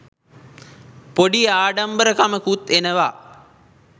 පොඩි ආඩම්බරකමකුත් එනවා.